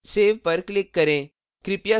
save पर click करें